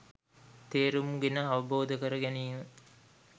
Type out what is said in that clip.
තේරුම් ගෙන අවබෝධ කරගැනීම